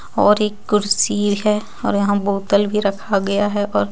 और एक कुर्सी है और यहाँ बोतल भी रखा गया है और--